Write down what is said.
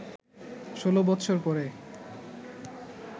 ১৬ বৎসর পরে